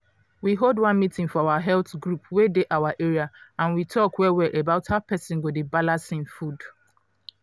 we hold one meeting for our health group wey dey our area and we talk well well about how persin go dey balance hin food.